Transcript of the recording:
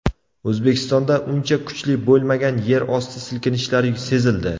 O‘zbekistonda uncha kuchli bo‘lmagan yerosti silkinishlari sezildi.